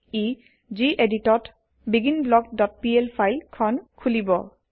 ই যিএদিটত begin block dot PL file খন খোলিব